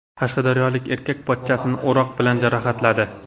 Qashqadaryolik erkak pochchasini o‘roq bilan jarohatladi.